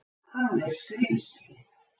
Hann er skrímslið.